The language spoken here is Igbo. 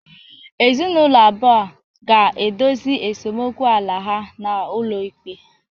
Ezinụlọ abụọ a ga-edozi esemokwu ala ha n'ụlọ ikpe